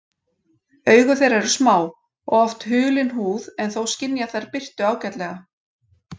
Augu þeirra eru smá og oft hulin húð en þó skynja þær birtu ágætlega.